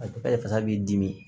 A fasa b'i dimi